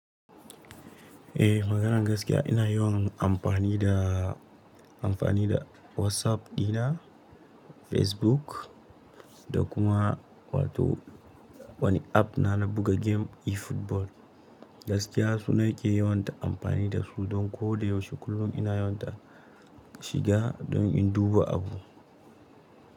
Eh maganan gaskiya ina yawan amfani da amfani da WhatsApp dina, Facebook, da kuma wato wani app na na buga game e-football. Gaskiya suna yake yawanta amfani da su don ko da yaushe kullum ina yawanta shiga don in duba abu.